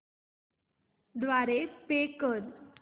द्वारे पे कर